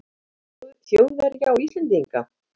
Þjóðverja og Íslendinga.